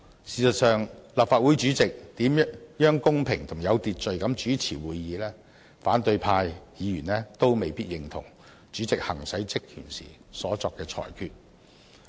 事實上，無論立法會主席如何公平及有秩序地主持會議，反對派議員都未必認同主席行使職權時所作的裁決。